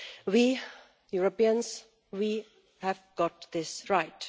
We Europeans have got this right.